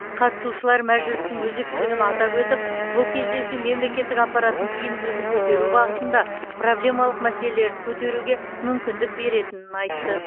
қатысушылар мәжілістің өзектілігін атап өтіп бұл кездесу мемлекеттік аппараттың тиімділігін көтеру бағытында проблемалық мәселерді көтеруге мүмкіндік беретінін айтты